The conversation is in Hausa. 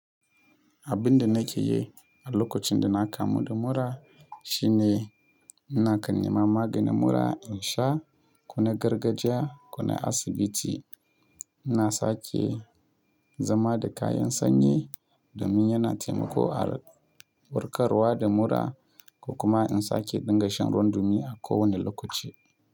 Abin da nake yi a lokacin da na kamu da mura shine ina kan nema maganin mura insha ko na gargajiya ko na asibiti. Ina sake zama da kayan sanyi domin yana taimako a warkarwa da mura ko kuma in sake dinga shan ruwan dumi a kowane lokaci.